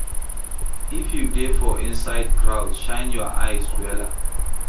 If you dey for inside crowd, shine your eyes wella